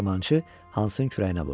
Dəyirmançı Hansın kürəyinə vurdu.